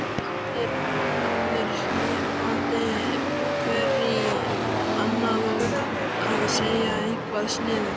Allir hnippandi hver í annan og að segja eitthvað sniðugt.